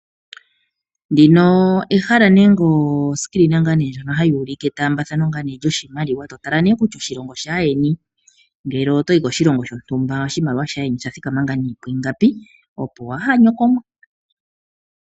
Ndino ehala nenge oscreen ndjono hayi ulike omatambathano ngaa nee lyoshimaliwa. Totala nee kutya oshilongo shaayeni ngele otoyi koshilongo shontumba oshimaliwa shayeni osha thikama nee pwiingapi. Opo waha nyokomwe.